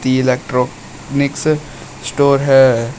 दी electronics store है।